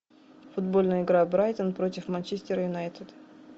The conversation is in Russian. футбольная игра брайтон против манчестер юнайтед